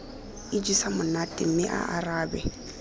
ijesa monate mme a arabe